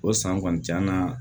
O san kɔni t'an na